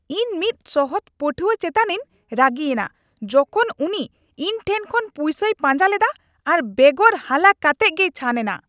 ᱤᱧ ᱢᱤᱫ ᱥᱚᱦᱚᱫ ᱯᱟᱹᱴᱷᱩᱣᱟᱹ ᱪᱮᱛᱟᱱᱤᱧ ᱨᱟᱹᱜᱤᱭᱮᱱᱟ ᱡᱚᱠᱷᱚᱱ ᱩᱱᱤ ᱤᱧᱴᱷᱮᱱ ᱠᱷᱚᱱ ᱯᱩᱭᱥᱟᱹᱭ ᱯᱟᱧᱟ ᱞᱮᱫᱟ ᱟᱨ ᱵᱮᱜᱚᱨ ᱦᱟᱞᱟ ᱠᱟᱛᱮᱜ ᱜᱮᱭ ᱪᱷᱟᱱ ᱮᱱᱟ ᱾